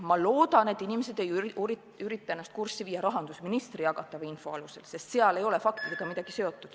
Ma loodan, et inimesed ei ürita ennast kurssi viia rahandusministri jagatava info alusel, sest seal ei ole faktidega mingit seost.